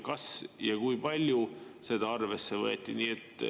Kas ja kui palju seda arvesse võeti?